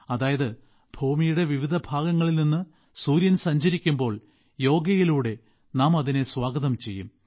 അതായത് ഭൂമിയുടെ വിവിധ ഭാഗങ്ങളിൽ നിന്ന് സൂര്യൻ സഞ്ചരിക്കുമ്പോൾ യോഗയിലൂടെ നാം അതിനെ സ്വാഗതം ചെയ്യും